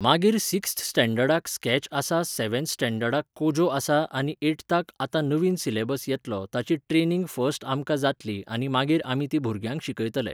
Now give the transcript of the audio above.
मागीर सिक्स्थ स्टॅण्डर्डाक स्क्रॅच आसा सॅवन्थ स्टॅण्डर्डाक कोजो आसा आनी एठताक आतां नवीन सिलॅबस येतलो ताची ट्रॅनिंग फर्स्ट आमकां जातली आनी मागीर आमी ती भुरग्यांक शिकयतले.